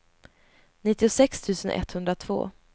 nittiosex tusen etthundratvå